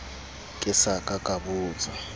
ke sa ka ka botsa